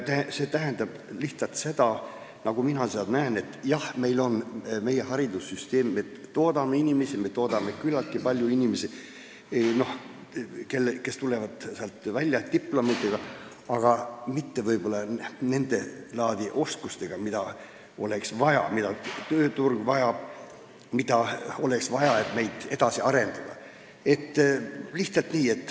See tähendab lihtsalt seda – nagu mina seda näen –, et meil on meie haridussüsteem, me toodame küllaltki palju inimesi, kes tulevad sealt välja diplomiga, aga mitte võib-olla sedalaadi oskustega, mida tööturg vajab ja mida oleks vaja, et meid edasi arendada.